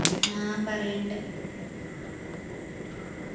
ആ പറയണ്ട്